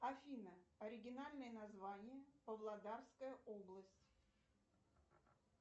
афина оригинальное название павлодарская область